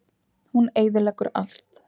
Hún eyðileggur allt.